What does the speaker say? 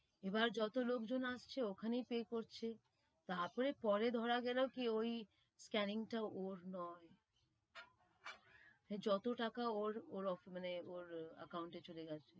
এবার যত লোক জন আসছে ওখানেই pay করছে, তার পরে পরে ধরা গেলো কি ওই scanning টা ওর নয়, যত তাকে ওর ওর ওর মানে ওর account এ চলে যাচ্ছে,